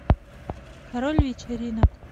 король вечеринок